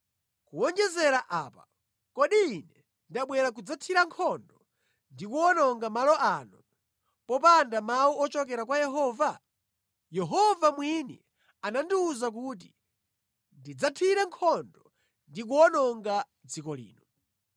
Kuwonjezera pamenepa, kodi ine ndabwera kudzathira nkhondo ndi kuwononga malo ano popanda chilolezo cha Yehova? Yehova mwini ndiye anandiwuza kuti ndidzathire nkhondo ndi kuwononga dziko lino.’ ”